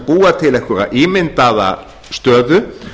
búa til einhverja ímyndaða stöðu